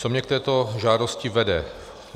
Co mě k této žádosti vede.